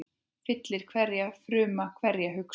Fyllir hverja frumu, hverja hugsun.